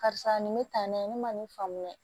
Karisa nin bɛ tan n'a ye ne ma nin faamuya